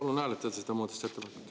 Palun hääletada seda muudatusettepanekut.